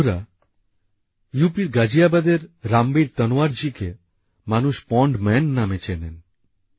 বন্ধুরা ইউপির গাজিয়াবাদের রামবীর তনওয়ার জি কে মানুষ পন্ড ম্যান নামে চেনেন